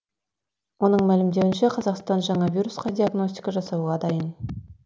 оның мәлімдеуінше қазақстан жаңа вирусқа диагностика жасауға дайын